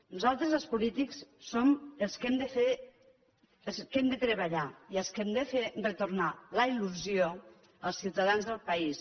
nosaltres els polítics som els que hem de treballar i els que hem de fer retornar la il·lusió als ciutadans del país